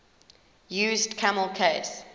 used camel case